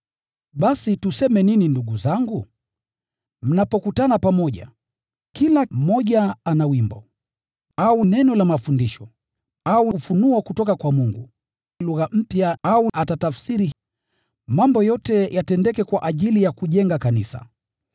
Basi tuseme nini ndugu zangu? Mnapokutana pamoja, kila mmoja ana wimbo, au neno la mafundisho, au ufunuo, lugha mpya au atatafsiri. Mambo yote yatendeke kwa ajili ya kulijenga kanisa.